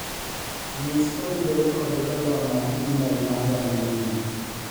nyis kotudore kod barua mag email maga manyien